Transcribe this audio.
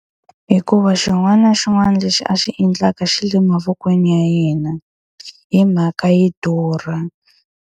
Hikuva xin'wana na xin'wana lexi a xi endlaka xi le mavokweni ya yena, hi mhaka yi durha.